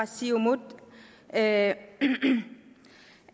siumut at